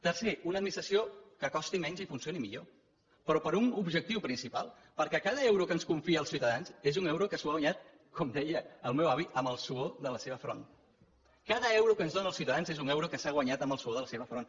tercer una administració que costi menys i funcioni millor però per un objectiu principal perquè cada euro que ens confien els ciutadans és un euro que s’han guanyat com deia el meu avui amb la suor del seu front cada euro que ens dóna els ciutadans és un euro que s’ha guanyat amb la suor del seu front